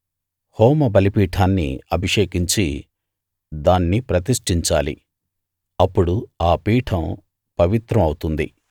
హోమ బలిపీఠాన్ని అభిషేకించి దాన్ని ప్రతిష్ఠించాలి అప్పుడు ఆ పీఠం పవిత్రం అవుతుంది